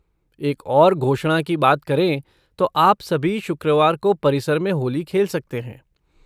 एक और घोषणा की बात करें तो आप सभी शुक्रवार को परिसर में होली खेल सकते हैं।